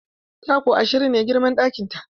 Taku ashirin ne girman ɗakin ta.